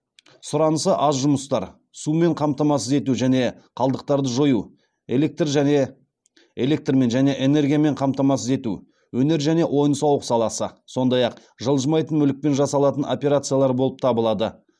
сұранысы аз жұмыстар сумен қамтамасыз ету және қалдықтарды жою электрмен және энергиямен қамтамасыз ету өнер және ойын сауық саласы сондай ақ жылжымайтын мүлікпен жасалатын операциялар болып табылады